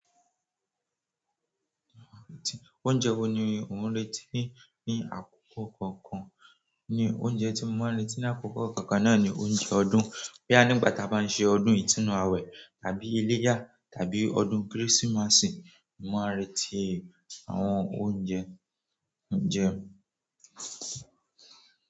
Oúnjẹ wo ni ó ń retí ní àkókò kankan? Ni oúnjẹ tí mo máa ń retí ní àkókò kọ̀ọ̀kan náà ni oúnjẹ ọdún. Boya nìgbà tí a bá ń ṣe ọdún ìtúnu àwẹ̀ tàbí iléyà tàbí ọdún Kérésìmesì, mo máa ń retí àwọn oúnjẹ ń jẹ.